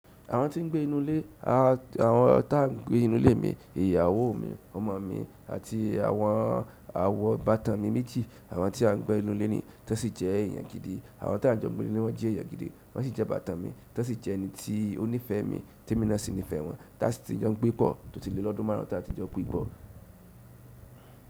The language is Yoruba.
Àwọn tí ń gbé inú ilé, àwọn tá gbé inú ilé mi, ìyàwó mi, ọmọ mi àti àwọn àwọn ibàtàn mi méjì, àwọn tí a ń gbé inú ilé ni wọ́n sì jẹ́ èèyàn gidi. Àwọn tá n jọ gbé nílé wọ́n jẹ́ èèyàn gidi, wọ́n sì jẹ́ ibàtán mi. Tan sì jẹ́ ẹ̀ní tí ó nífẹ̀ẹ́ mi tí emi na sì nífẹ̀ẹ́ wọn. Tá sì ti jọ gbé pọ̀, tó ti lè lọ́dún márùn ún tá tí jọ gbé pọ̀.